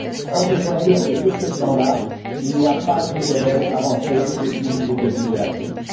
Or, je dois dire que, sur ce plan là, il n'y a pas eu de réelle avancée depuis le début de la crise.